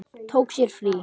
Tók sér frí.